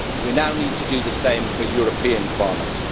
We now need to do the same for European farmers.